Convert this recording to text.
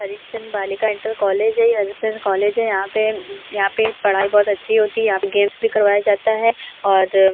हरीशचन्द बालिका inter college है। ये हरीश चन्द कॉलेज है। यहाँ पे यहाँ पे पढ़ाई बहोत अच्छी होती है। गेम्स भी करवाए जाते हैं और --